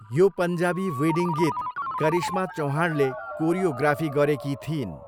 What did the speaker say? यो पन्जाबी वेडिङ गीत करिश्मा चव्हाणले कोरियोग्राफी गरेकी थिइन्।